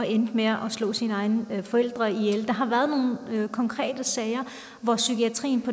endte med at slå sine egne forældre ihjel der har været nogle konkrete sager hvor psykiatrien